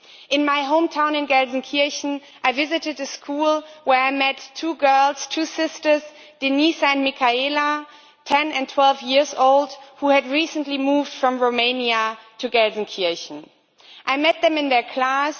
In my hometown, Gelsenkirchen, I visited a school where I met two girls two sisters, Denise and Michaela, 10 and 12 years old who had recently moved from Romania to Gelsenkirchen. I met them in their class.